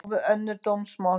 Á við önnur dómsmál